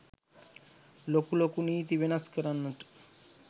ලොකු ලොකු නීති වෙනස් කරන්නට